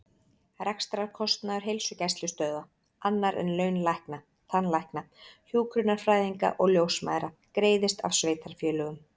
Rekstrarkostnaður heilsugæslustöðva, annar en laun lækna, tannlækna, hjúkrunarfræðinga og ljósmæðra, greiðist af sveitarfélögum.